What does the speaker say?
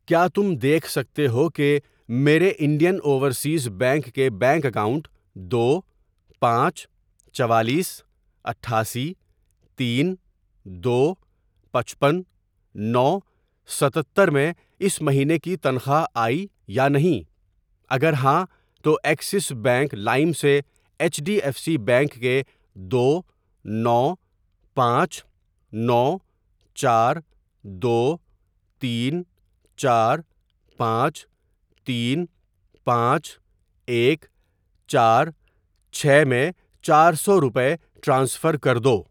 کیا تم دیکھ سکتے ہو کہ میرے انڈین اوورسیز بینک کے بینک اکاؤنٹ دو ، پانچ ،چوالیس ، اٹھاسی ، تین ،دو ، پپچپن ،نو، ستتر ، میں اس مہینے کی تنخواہ آئی یا نہیں؟ اگر ہاں تو ایکسس بینک لائم سے H D F C bank کے دو نو پانچ نو چار دو تین چار پانچ تین پانچ ایک چار چھ میں چار سو روپے ٹرانسفر کر دو۔